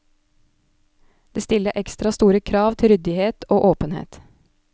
Det stiller ekstra store krav til ryddighet og åpenhet.